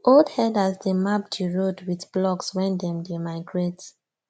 old herders dey map the road with blocks wen them dey migrate